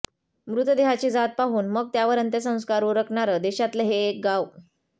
मृतदेहाची जात पाहून मग त्यावर अंत्यसंस्कार उरकणारं देशातलं हे एक गाव